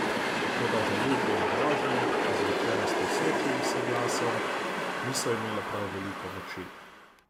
Toda žaljivke in grožnje, izrečene s tresočim se glasom, niso imele prav veliko moči.